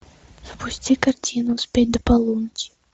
запусти картину успеть до полуночи